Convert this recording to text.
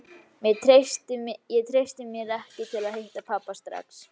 Ég treysti mér ekki til að hitta pabba strax.